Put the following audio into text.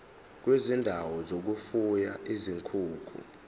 kwezindawo zokufuya izinkukhu